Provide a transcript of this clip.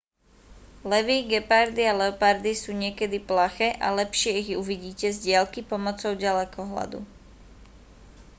levy gepardy a leopardy sú niekedy plaché a lepšie ich uvidíte z diaľky pomocou ďalekohľadu